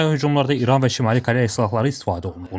Ukraynaya hücumlarda İran və Şimali Koreya silahları istifadə olunub.